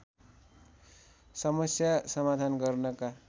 समस्या समाधान गर्नका